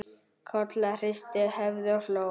Kolla hristi höfuðið og hló.